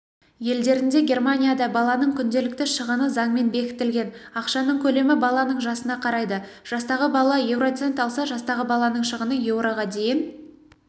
елдерінде германияда баланың күнделікті шығыны заңмен бекітілген ақшаның көлемі баланың жасына қарайды жастағы бала еуроцент алса жастағы баланың шығыны еуроға дейін